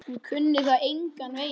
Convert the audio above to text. Hún kunni það engan veginn.